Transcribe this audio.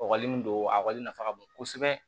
Ɔkɔli min don a kɔli nafa ka bon kosɛbɛ